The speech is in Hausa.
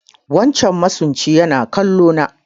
Wancan masunci yana kallo na